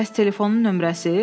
Bəs telefonun nömrəsi?